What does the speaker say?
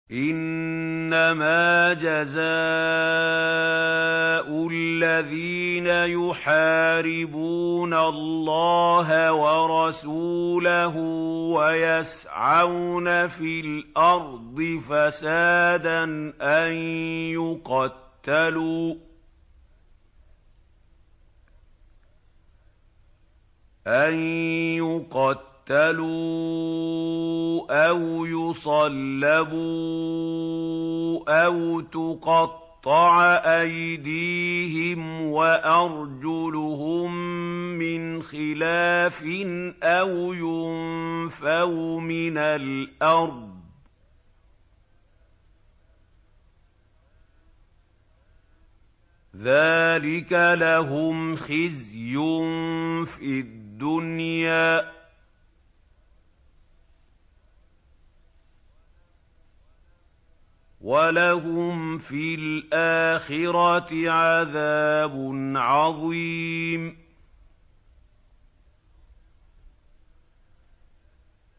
إِنَّمَا جَزَاءُ الَّذِينَ يُحَارِبُونَ اللَّهَ وَرَسُولَهُ وَيَسْعَوْنَ فِي الْأَرْضِ فَسَادًا أَن يُقَتَّلُوا أَوْ يُصَلَّبُوا أَوْ تُقَطَّعَ أَيْدِيهِمْ وَأَرْجُلُهُم مِّنْ خِلَافٍ أَوْ يُنفَوْا مِنَ الْأَرْضِ ۚ ذَٰلِكَ لَهُمْ خِزْيٌ فِي الدُّنْيَا ۖ وَلَهُمْ فِي الْآخِرَةِ عَذَابٌ عَظِيمٌ